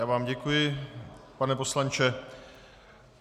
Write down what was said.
Já vám děkuji, pane poslanče.